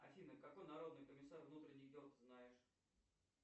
афина какой народный комиссар внутренних дел ты знаешь